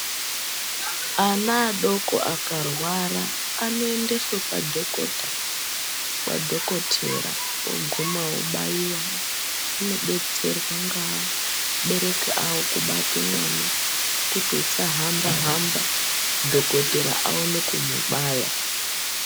Ana adoko akarwara anoendeswa kwa dhokota kwadhokotera uguma obayiwa anobetserwa neabereki avo kubate mwana kuti usahamba hamba dhokotera aone kumubaya.